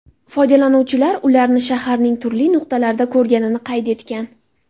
Foydalanuvchilar ularni shaharning turli nuqtalarida ko‘rganini qayd etgan.